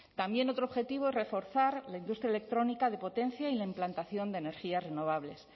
también otro objetivo es reforzar la industria electrónica de potencia y la implantación de energías renovables